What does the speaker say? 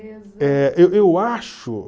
Eh eu eu acho